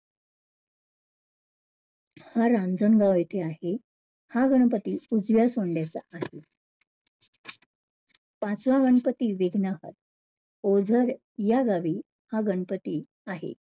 हा रांजणगाव येथे आहे. हा गणपती उजव्या सोंडयाचा आहे. पाचवा गणपती विघ्नहर ओझर या गावी हा गणपती आहे.